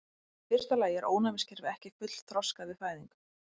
Í fyrsta lagi er ónæmiskerfið ekki fullþroskað við fæðingu.